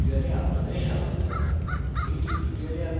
creating classes এর কথ্য tutorial আপনাদের স্বাগত